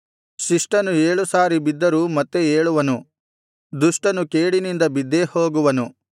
ಶಿಷ್ಟನು ಏಳು ಸಾರಿ ಬಿದ್ದರೂ ಮತ್ತೆ ಏಳುವನು ದುಷ್ಟನು ಕೇಡಿನಿಂದ ಬಿದ್ದೇಹೋಗುವನು